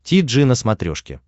ти джи на смотрешке